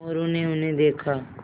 मोरू ने उन्हें देखा